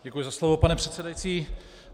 Děkuji za slovo, pane předsedající.